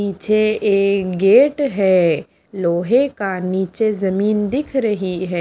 पीछे एक गेट है लोहे का नीचे जमीन दिख रही है।